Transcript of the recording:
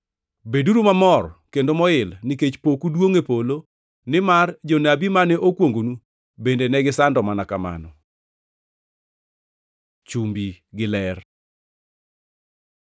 Beduru mamor kendo moil, nikech poku duongʼ e polo, nimar jonabi mane okwongonu bende negisando mana kamano.” Chumbi gi ler